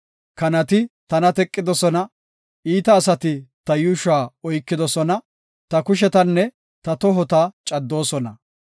Kanati tana teqidosona; iita asati ta yuushuwa oykidosona; ta kushetanne ta tohota caddoosona.